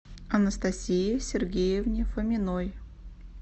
анастасии сергеевне фоминой